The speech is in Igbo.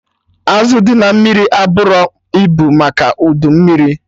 Azụ dị na mmiri eburọ ibu maka udu mmiri